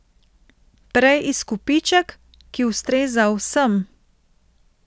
Prej izkupiček, ki ustreza vsem.